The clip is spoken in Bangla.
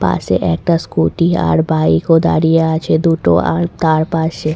পাশে একটা স্কুটি আর বাইক ও দাঁড়িয়ে আছে দুটো আর তার পাশে।